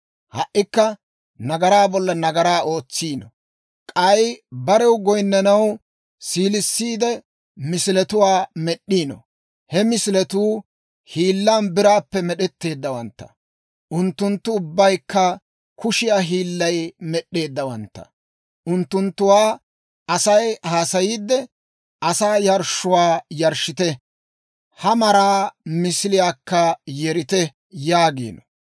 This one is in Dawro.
Ha"ikka nagaraa bolla nagaraa ootsiino; k'ay barew goyinnanaw, siilissiide misiletuwaa med'd'iino. He misiletuu hiillan biraappe med'etteeddawantta; unttunttu ubbaykka kushiyaa hiillay med'd'eeddawantta. Unttunttuwaa Asay haasayiidde; «Asaa yarshshuwaa yarshshite; ha maraa misiliyaakka yerite» yaagino.